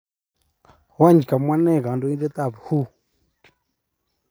weny kamwa nee kandoindet ap WHO